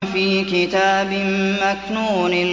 فِي كِتَابٍ مَّكْنُونٍ